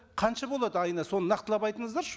қанша болады айына соны нақтылап айтыңыздаршы